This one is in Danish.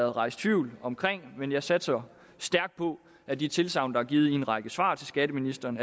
rejst tvivl om men jeg satser stærkt på at de tilsagn der er givet i en række svar til skatteministeren